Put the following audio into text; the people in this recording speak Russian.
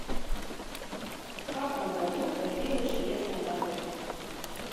в каком году появилась железная дорога